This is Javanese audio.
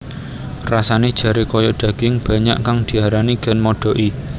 Rasane jare kaya daging banyak kang diarani ganmodoki